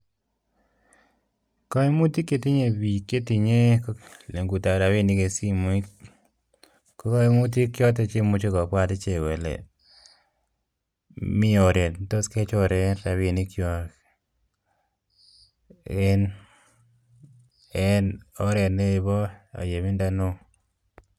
Koimutik chetinyei biik chetinye legutab rabinik eng simoit ko koimutik choto che imuche kobwat ichek kole mi oret ne tos kechoren rabiinik chon en en oret nebo aiyebindo neo.